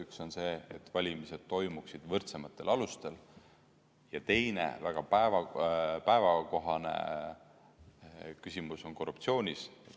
Üks on see, et valimised toimuksid võrdsematel alustel, ja teine, väga päevakohane küsimus on korruptsioonis.